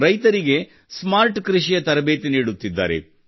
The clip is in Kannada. ರೈತರಿಗೆ ಸ್ಮಾರ್ಟ್ ಕೃಷಿಯ ತರಬೇತಿ ನೀಡುತ್ತಿದ್ದಾರೆ